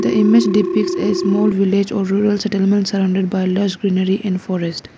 the image depicts a small village or rural settlement surrounded by lush greenery and forest.